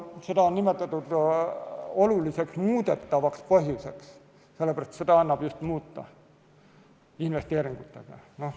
Seda on nimetatud oluliseks muudetavaks põhjuseks, sest seda annab muuta just investeeringutega.